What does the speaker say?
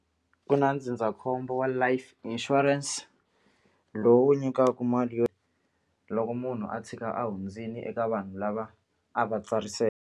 Ku na ndzindzakhombo wa life insurance lowu nyikaku mali yo loko munhu a tshika a hundzile eka vanhu lava a va .